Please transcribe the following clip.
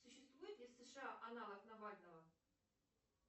существует ли в сша аналог навального